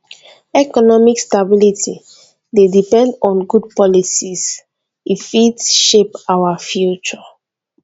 economic stability dey depend on good policies e fit shape our future